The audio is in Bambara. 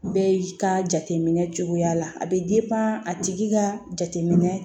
Bɛ ka jateminɛ cogoya la a bɛ a tigi ka jateminɛ